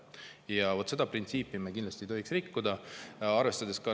Ja seda printsiipi me kindlasti ei tohiks rikkuda.